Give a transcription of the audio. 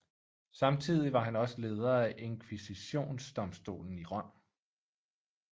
Samtidig var han også leder af Inkvisitionsdomstolen i Rom